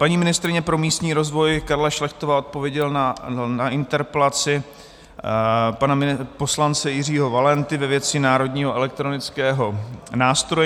Paní ministryně pro místní rozvoj Karla Šlechtová odpověděla na interpelaci pana poslance Jiřího Valenty ve věci národního elektronického nástroje.